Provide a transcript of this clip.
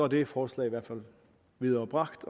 det forslag i hvert fald viderebragt